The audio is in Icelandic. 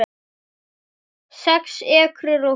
Sex ekrur og hús